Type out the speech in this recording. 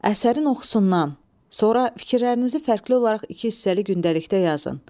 Əsərin oxusundan sonra fikirlərinizi fərqli olaraq iki hissəli gündəlikdə yazın.